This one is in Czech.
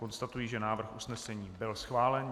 Konstatuji, že návrh usnesení byl schválen.